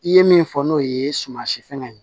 I ye min fɔ n'o ye sumansi fɛngɛ ye